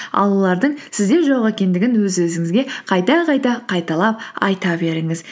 ал олардың сізде жоқ екендігін өз өзіңізге қайта қайта қайталап айта беріңіз